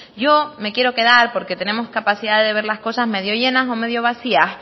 yo me quiero quedar porque tenemos capacidad de ver las cosas medio llenas o medio vacías